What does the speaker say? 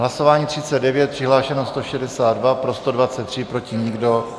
Hlasování 39, přihlášeno 162, pro 123, proti nikdo.